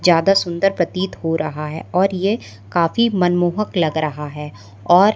ज्यादा सुंदर प्रतीत हो रहा है और ये काफी मनमोहक लग रहा है और--